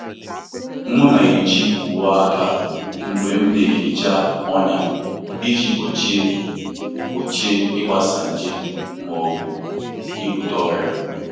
M na-eji uwe aka mgbe m na-ehicha ọnya iji gbochie gbochie ịgbasa nje ma ọ bụ ibute ọrịa.